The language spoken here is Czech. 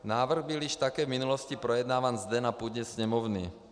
Návrh byl již také v minulosti projednáván zde na půdě Sněmovny.